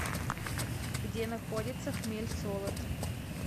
где находится хмельсолод